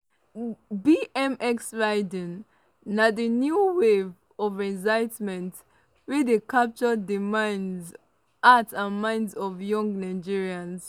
bmx riding na di new wave of excitement wey dey capture di hearts and minds of young nigerians.